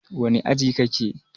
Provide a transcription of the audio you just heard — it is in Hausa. wane aji kake?